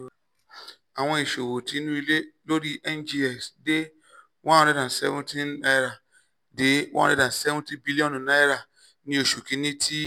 awọn iṣowo ti inu ile lori cs] ngx de one hundred and seventy naira de one hundred and seventy bilionu naira ni oṣu kini ti